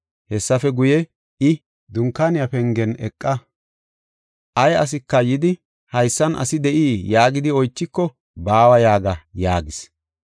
Hessafe guye i, “Dunkaaniya pengen eqa. Ay asika yidi, ‘Haysan asi de7ii?’ yaagidi oychiko, ‘Baawa’ yaaga” yaagis.